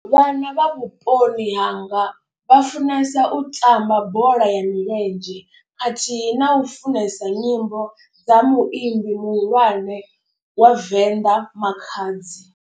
Vhana vha vhuponi hanga vha funesa u tamba bola ya milenzhe. Khathihi na u funesa nyimbo dza muimbi muhulwane wa venḓa Makhadzi.